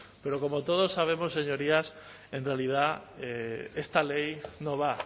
pero como todos sabemos señorías en realidad esta ley no va